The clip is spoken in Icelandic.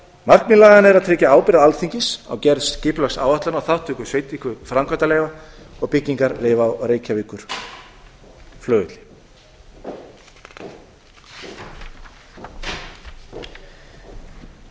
markmið laganna er að tryggja ábyrgð alþingis á gerð skipulagsáætlana og þátttöku í veitingu framkvæmdaleyfa og byggingarleyfa á reykjavíkurflugvelli í